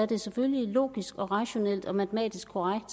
det er selvfølgelig logisk rationelt og matematisk korrekt